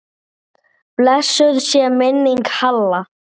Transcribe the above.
Blessuð sé minning Halla.